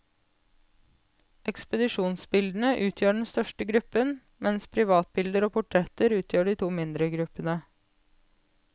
Ekspedisjonsbildene utgjør den største gruppen, mens privatbilder og portretter utgjør de to mindre gruppene.